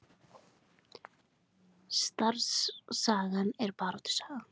Starfssagan er baráttusaga